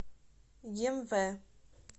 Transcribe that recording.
емве